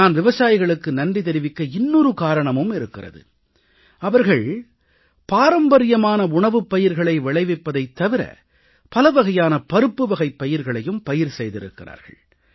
நான் விவசாயிகளுக்கு நன்றி தெரிவிக்க இன்னொரு காரணமும் இருக்கிறது அவர்கள் பாரம்பரியமான உணவுப்பயிர்களை விளைவிப்பதைத் தவிர பலவகையான பருப்புவகைப் பயிர்களையும் பயிர் செய்திருக்கிறார்கள்